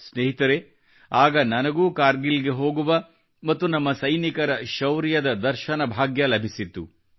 ಸ್ನೇಹಿತರೆ ಆಗ ನನಗೂ ಕಾರ್ಗಿಲ್ ಗೆ ಹೋಗುವ ಮತ್ತು ನಮ್ಮ ಸೈನಿಕರ ಶೌರ್ಯದ ದರ್ಶನ ಭಾಗ್ಯ ಲಭಿಸಿತ್ತು